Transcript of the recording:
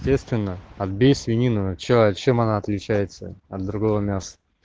естественно отбей свинину чем а чем она отличается от другого мяса